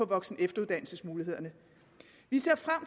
voksen og efteruddannelsesmulighederne vi ser frem